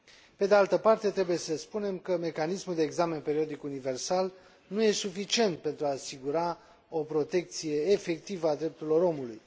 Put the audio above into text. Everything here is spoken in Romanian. Pe de altă parte, trebuie să spunem că mecanismul de examen periodic universal nu este suficient pentru a asigura o protecție efectivă a drepturilor omului.